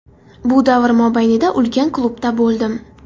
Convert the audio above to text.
Bu davr mobaynida ulkan klubda bo‘ldim.